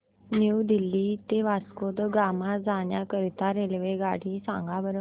new Delhi ते वास्को द गामा जाण्या करीता रेल्वेगाडी सांगा बरं